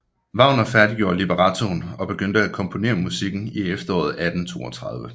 Wagner færdiggjorde librettoen og begyndte at komponere musikken i efteråret 1832